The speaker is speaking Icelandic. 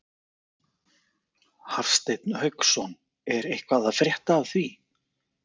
Hafsteinn Hauksson: Er eitthvað að frétta af því?